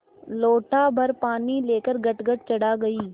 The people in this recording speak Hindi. लोटाभर पानी लेकर गटगट चढ़ा गई